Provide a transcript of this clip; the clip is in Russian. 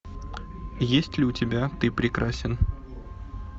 есть ли у тебя ты прекрасен